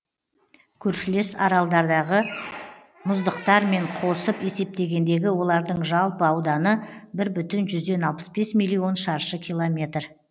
көршілес аралдардағы мұздықтармен қосып есептегендегі олардың жалпы ауданы бір бүтін жүзден алпыс бес миллион шаршы километр